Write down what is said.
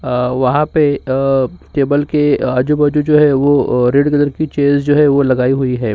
अ वहाँ पे अ टेबल के आजू-बाजू जो है वो अ रेड कलर्स की चेयर्स जो है वो लगाई हुई हैं।